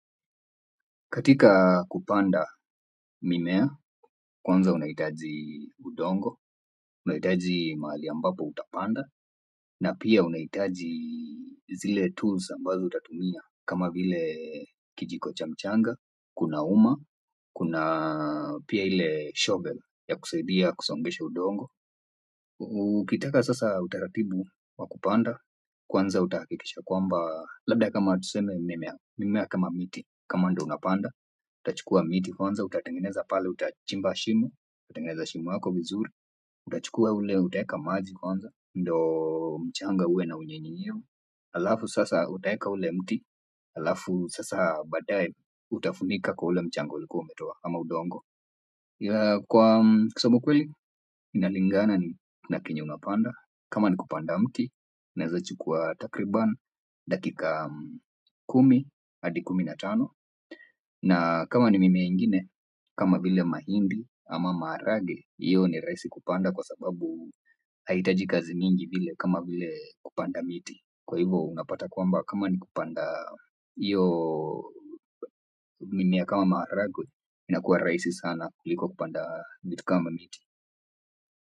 Katika kupanda mimea, kwanza unahitaji udongo, unahitaji mahali ambapo utapanda, na pia unahitaji zile tools ambazo utatumia, kama vile kijiko cha mchanga, kuna uma, kuna pia ile shovel ya kusaidia kusongesha udongo. Ukitaka sasa utaratibu wakupanda kwanza utahakikisha kwamba labda kama tuseme mimea kama miti kama ndo unapanda. Utachukua miti kwanza utatengeza pale utachimba shimo, utengeneze shimo yako vizuri. Utachukua ule utaweka maji kwanza ndo mchanga uwe na unyevunyevu alafu sasa utaweka ule mti alafu sasa badaye utafunika kwa ule mchanga uliku umetoa ama udongo kwa kusema kweli inalingana na chenye unapanda kama ni kupanda mti inaweza chukua takriban dakika kumi adi kumi na tano na kama ni mimea ingine kama vile mahindi ama maharage iyo ni rahisi kupanda kwa sababu haitaji kazi mingi vile kama vile kupanda miti kwa hivo unapata kwamba kama ni kupanda hiyo mimea kama maharage inakuwa rahisi sana kuliko kupanda vitu kama miti.